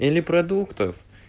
или продуктов